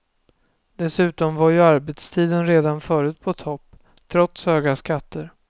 Dessutom var ju arbetstiden redan förut på topp, trots höga skatter.